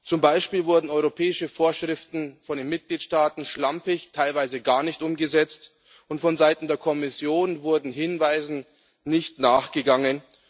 Zum Beispiel wurden europäische Vorschriften von den Mitgliedstaaten schlampig, teilweise gar nicht umgesetzt und vonseiten der Kommission wurde Hinweisen nicht nachgegangen.